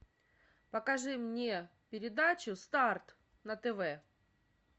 покажи мне передачу старт на тв